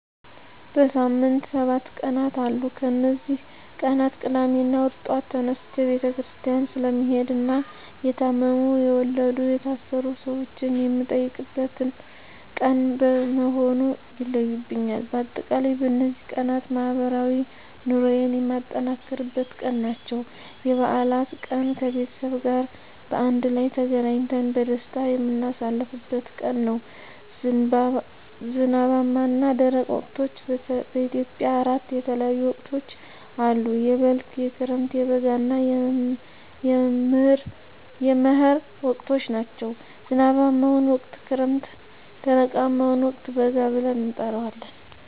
በሳምንት ሰባት ቀናት አሉ ከነዚህ ቀናት ቅዳሜና እሁድ ጧት ተነስቸ ቤተክርስቲያን ስለምሄድና የታመሙ፣ የወለዱ፣ የታሰሩ ሰወችን የምጠይቅበት ቀን በመሆኑ ይለዩብኛል። በአጠቃላይ በነዚህ ቀናት ማህበራዊ ኑሮየን የማጠናክርበት ቀን ናቸው። *የበዓላት ቀን፦ ከቤተሰብ ጋር በአንድ ላይ ተገናኝተን በደስታ የምናሳልፍበት ቀን ነው። *ዝናባማና ደረቅ ወቅቶች፦ በኢትዮጵያ አራት የተለያዩ ወቅቶች አሉ፤ የበልግ፣ የክረምት፣ የበጋ እና የመህር ወቅቶች ናቸው። *ዝናባማውን ወቅት ክረምት *ደረቃማውን ወቅት በጋ ብለን እንጠራዋለን።